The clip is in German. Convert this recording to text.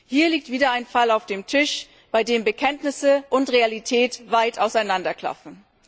Hier liegt wieder ein Fall auf dem Tisch, bei dem Bekenntnisse und Realität weit auseinanderklaffen.